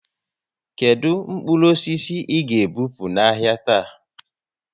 Kedụ mkpụrụ osisi ị ga e bupu n'ahia taa?